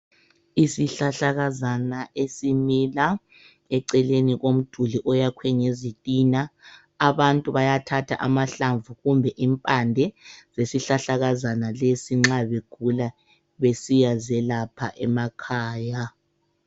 Isihlahlakazana esimila eceleni komduli oyakhwe ngezitina abantu bayathatha amahlamvu kumbe impande zesihlahlakazana lesi nxa begula besiya zelapha emakhaya.